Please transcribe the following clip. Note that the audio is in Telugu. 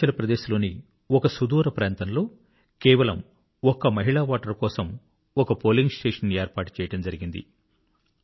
అరుణాచల్ ప్రదేశ్ లోని ఒక సుదూర ప్రాంతంలో కేవలం ఒక్క మహిళా ఓటరు కోసం ఒక పోలింగ్ స్టేషన్ ఏర్పాటు చేయడం జరిగింది